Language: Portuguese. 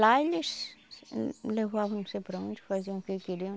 Lá eles levavam não sei para onde, faziam o que queriam.